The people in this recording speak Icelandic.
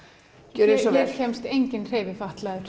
gjörið svo vel kemst enginn